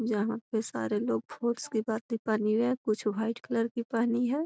जहाँ पे सारे लोग पहनी हुई है कुछ व्हाइट कलर की पहनी है।